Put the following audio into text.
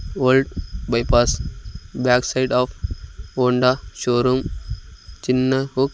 old bypass back side of Honda showroom చిన్న hook--